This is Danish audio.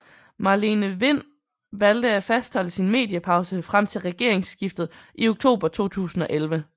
Marlene Wind valgte at fastholde sin mediepause frem til regeringsskiftet i oktober 2011